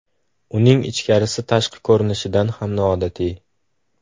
Uning ichkarisi tashqi ko‘rinishidan ham noodatiy.